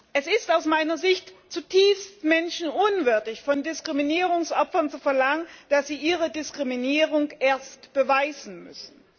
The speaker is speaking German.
Es ist aus meiner Sicht zutiefst menschenunwürdig von Diskriminierungsopfern zu verlangen, dass sie ihre Diskriminierung erst beweisen müssen.